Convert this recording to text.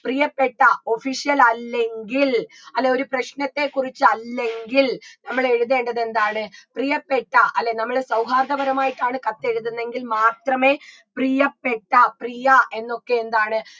പ്രിയപ്പെട്ട official അല്ലെങ്കിൽ അല്ല ഒരു പ്രശ്നത്തെ കുറിച്ച് അല്ലെങ്കിൽ നമ്മളെഴുതേണ്ടത് എന്താണ് പ്രിയപ്പെട്ട അല്ലേ നമ്മള് സൗഹാർദ്ദപരമായിട്ടാണ് കത്തെഴുതുന്നെങ്കിൽ മാത്രമേ പ്രിയപ്പെട്ട പ്രിയ എന്നൊക്കെ എന്താണ്